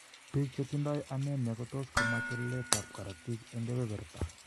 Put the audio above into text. Biik chetindo anemia kotos komach weleletab korotik en keberberta.